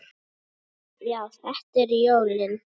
Já, þetta eru jólin!